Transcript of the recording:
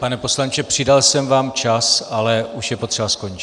Pane poslanče, přidal jsem vám čas, ale už je potřeba skončit.